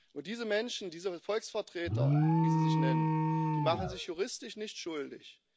Und diese Menschen, diese Volksvertreter, wie sie sich nennen, machen sich juristisch nicht schuldig.